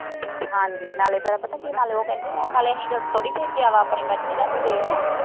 ਹਾਂਜੀ ਨਾਲੇ ਫਿਰ ਪਤਾ ਕੀ ਆ। ਨਾਲੇ ਉਹ ਕਹਿੰਦੇ ਆ, ਨਾਲੇ ਅਸੀਂ ਥੋੜ੍ਹੀ ਭੇਜਿਆ ਗਾ, ਆਪਣੀ ਮਰਜ਼ੀ ਨਾਲ ਤੂੰ ਗਈ ਆਂ।